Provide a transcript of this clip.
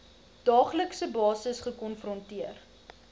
daaglikse basis gekonfronteer